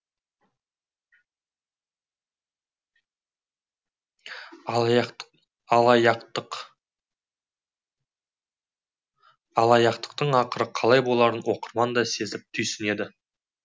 алаяқтықтың ақыры қалай боларын оқырман да сезіп түйсінеді